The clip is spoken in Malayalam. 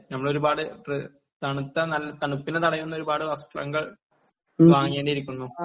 ഞമ്മള് ഒരുപാട് തണുത്ത നല്ല തണുപ്പിനെ തടയുന്ന ഒരുപാട് വസ്ത്രങ്ങൾ വാങ്ങേണ്ടിയിരിക്കുന്നു